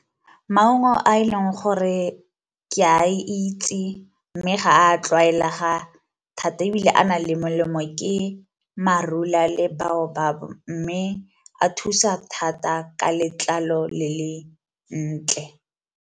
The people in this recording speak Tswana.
Maungo a e leng gore ke a itse, mme ga a tlwaelega thata ebile a nang le molemo ke marula le biobab mme a thusa thata ka letlalo le le ntle.